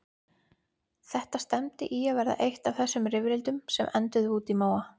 Þetta stefndi í að verða eitt af þessum rifrildum sem enduðu úti í móa.